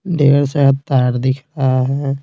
ढेर सारा तार दिख रहा है।